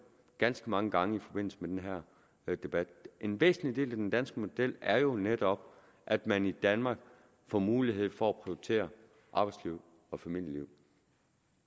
ganske mange gange i forbindelse med den her debat en væsentlig del af den danske model er jo netop at man i danmark får mulighed for at prioritere arbejdslivet og familielivet